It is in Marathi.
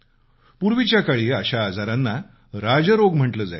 पूर्वीच्या काळी अशा आजारांना राजरोग म्हटलं जायचं